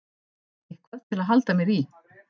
Eitthvað til að halda mér í.